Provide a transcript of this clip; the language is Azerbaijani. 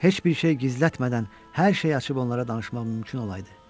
Heç bir şey gizlətmədən hər şeyi açıb onlara danışmaq mümkün olaydı.